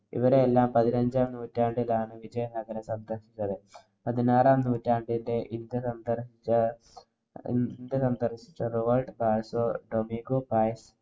ഇവരെല്ലാം പതിനഞ്ചാം നൂറ്റാണ്ടിലാണ് വിജയനഗരം സന്ദര്‍ശിച്ചത്. പതിനാറാം നൂറ്റാണ്ടിന്‍റെ ഇന്ത്യ സന്ദര്‍ശിച്ച